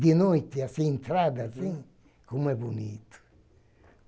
de noite, assim, as entradas, assim, como é bonito!